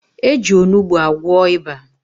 Eji Onugbu agwọ ịba